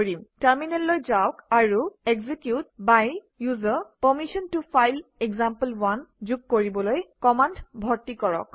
টাৰমিনেললৈ যাওক আৰু execute by ওচেৰ পাৰমিশ্যন ত ফাইল এক্সাম্পল1 যোগ কৰিবলৈ কমাণ্ড ভৰ্তি কৰক